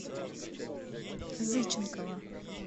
зыченкова